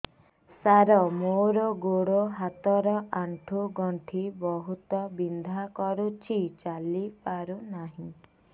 ସାର ମୋର ଗୋଡ ହାତ ର ଆଣ୍ଠୁ ଗଣ୍ଠି ବହୁତ ବିନ୍ଧା କରୁଛି ଚାଲି ପାରୁନାହିଁ